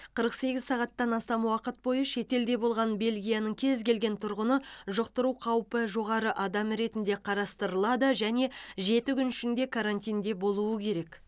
қырық сегіз сағаттан астам уақыт бойы шетелде болған бельгияның кез келген тұрғыны жұқтыру қаупі жоғары адам ретінде қарастырылады және жеті күн ішінде карантинде болуы керек